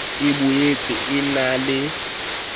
e boetse e na le